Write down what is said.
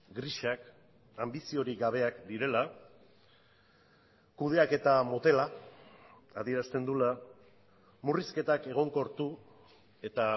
grisak anbiziorik gabeak direla kudeaketa motela adierazten duela murrizketak egonkortu eta